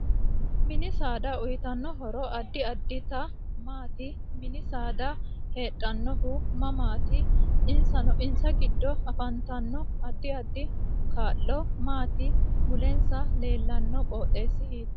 Mini saada uuyiitano horo addi additi maati mini saada heedhanohu mamaati isna giddo afantanno addi addi kaa'lo maati mulensa leelano qooxesi hiitooho